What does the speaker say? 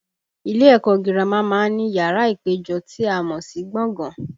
Ilé ẹ̀kọ́ gírámà má ń ní yàrá ìpéjọ tí a mọ̀ sí gbọ̀ngàn